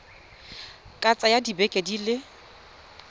ka tsaya dibeke di le